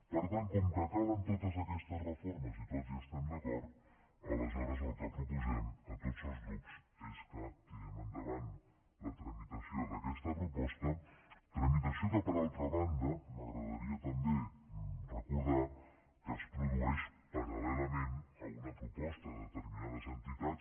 per tant com que calen totes aquestes reformes i tots hi estem d’acord aleshores el que proposem a tots els grups és que tirem endavant la tramitació d’aquesta proposta tramitació que per altra banda m’agradaria també recordar que es produeix paral·lelament a una proposta de determinades entitats